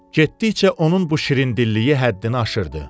Getdikcə onun bu şirindilliyi həddini aşırdı.